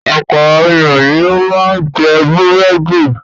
Ọ̀pọ̀ àwọn ènìyàn ni ó máa ń jẹ búrẹ́dì.